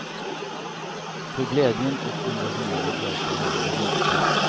För glädjen och engagemanget verkar alldeles äkta.